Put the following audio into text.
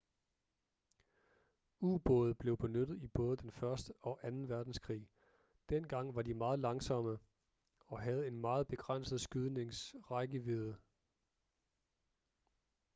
ubåde blev benyttet i både den første og anden verdenskrig dengang var de meget langsomme og havde en meget begrænset skydnings rækkevidde